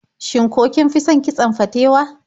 Shin ko kin fi son kitson fatewa?